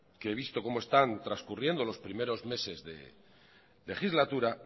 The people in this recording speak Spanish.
que visto como están transcurriendo los primeros meses de legislatura